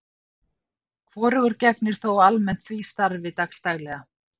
Hvorugur gegnir þó almennt því starfi dags daglega.